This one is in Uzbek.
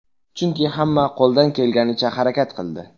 Chunki hamma qo‘ldan kelganicha harakat qildi.